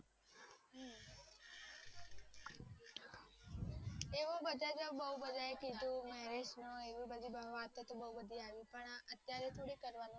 એવું તોહ બધાએ બૌ બધાએ કીધું marriage નું એવી બધી વાતો તો બૌ બધી આવી પણ અત્યારે થોડી કરવાનું હોય